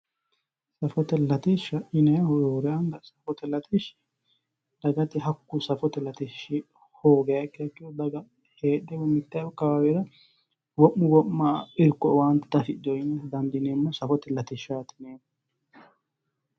Safote latishsha yinnannihu roore anga safote latishshi dagate hakku safote latishshi hoogiha ikkiha ikkiro daga heedhe woyi mite akawawera wo'munni wo'ma irko woyi owaante diafidhino ,safote latishshati yineemmo.